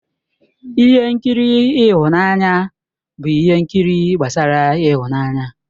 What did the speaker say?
Ihe nkiri ịhụnanya bụ ihe nkiri gbasara ịhụnanya.